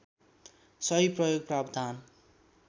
सही प्रयोग प्रावधान